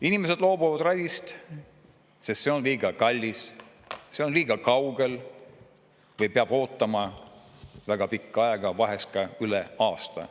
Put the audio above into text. Inimesed loobuvad ravist, sest see on liiga kallis, see on liiga kaugel või peab ootama väga pikka aega, vahest ka üle aasta.